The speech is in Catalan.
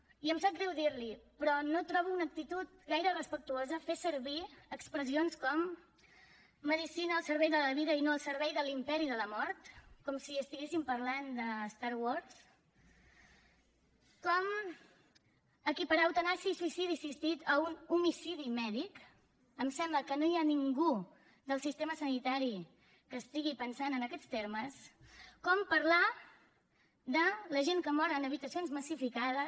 i em sap greu dir l’hi però no ho trobo una actitud gaire respectuosa fer servir expressions com medicina al servei de la vida i no al servei de l’imperi de la mort com si estiguéssim parlant de star wars com equiparar eutanàsia i suïcidi assistit a un homicidi mèdic em sembla que no hi ha ningú del sistema sanitari que estigui pensant en aquests termes com parlar de la gent que mor en habitacions massificades